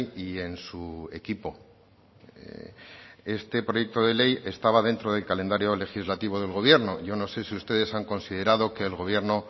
y en su equipo este proyecto de ley estaba dentro del calendario legislativo del gobierno yo no sé si ustedes han considerado que el gobierno